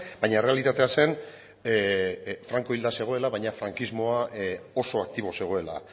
baina errealitatea zen franko hilda zegoela baina frankismoa oso aktibo zegoela